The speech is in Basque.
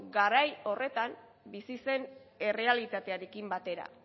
garai horretan bizi zen errealitatearekin batera